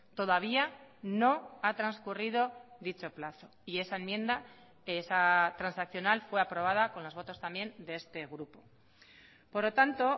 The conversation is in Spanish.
todavía no ha transcurrido dicho plazo y esa enmienda esa transaccional fue aprobada con los votos también de este grupo por lo tanto